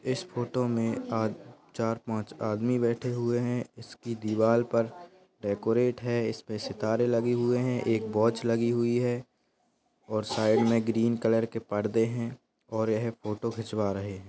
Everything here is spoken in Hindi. इस फोटो में चार पाँच आदमी बैठे हुए है इसकी दीवाल पर डेकोरेट है सितारे लगे हुए है एक वॉच लगी हुई है।